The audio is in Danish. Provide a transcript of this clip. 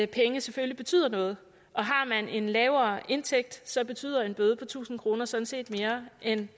penge selvfølgelig betyder noget og har man en lavere indtægt så betyder en bøde på tusind kroner sådan set mere end